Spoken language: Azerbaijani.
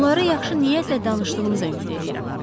Bunları yaxşı niyyətlə danışdığınıza ümid eləyirəm.